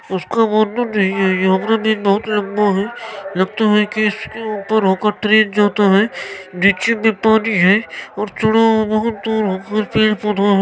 उसका वर्णन नहीं है हमरा बहुत लंबा है लगता है के इसके ऊपर होकर ट्रेन जाता है नीचे मे पानी है और थोड़ा बहुत दूर होकर पेड़-पौधा |